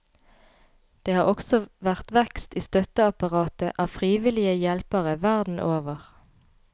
Det har også vært vekst i støtteapparatet av frivillige hjelpere verden over.